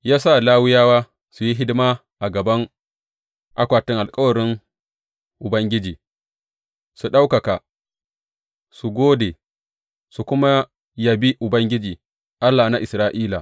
Ya sa Lawiyawa su yi hidima a gaban akwatin alkawarin Ubangiji, su ɗaukaka, su gode, su kuma yabi Ubangiji, Allah na Isra’ila.